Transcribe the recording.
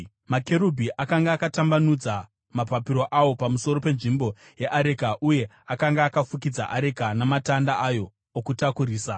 Makerubhi akanga akatambanudza mapapiro awo pamusoro penzvimbo yeareka uye akanga akafukidza areka namatanda ayo okutakurisa.